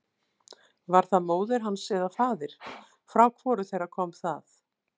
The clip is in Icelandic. Var það móðir hans eða faðir, frá hvoru þeirra kom það?